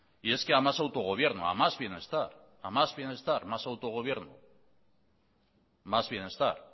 y es que a más autogobierno a más bienestar a más bienestar más autogobierno más bienestar